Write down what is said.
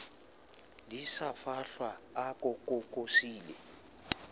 di sa fahlwa a kokosile